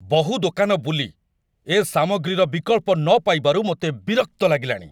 ବହୁ ଦୋକାନ ବୁଲି, ଏ ସାମଗ୍ରୀର ବିକଳ୍ପ ନ ପାଇବାରୁ ମୋତେ ବିରକ୍ତ ଲାଗିଲାଣି।